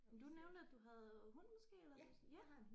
Men du nævnte at du havde hund måske eller ja